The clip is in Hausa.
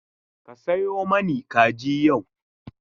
Ka sayo mani kaji yau.